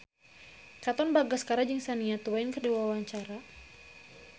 Katon Bagaskara jeung Shania Twain keur dipoto ku wartawan